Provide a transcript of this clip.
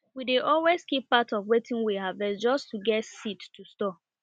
we dey always keep part of wetin we harvest just to get seed to store